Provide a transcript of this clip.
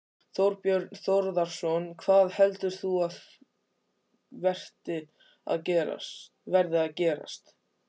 Þorbjörn Þórðarson: Hvað heldur þú að verði að gerast?